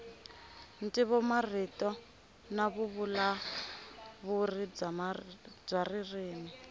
ntivomarito na vuvulavuri bya ririmi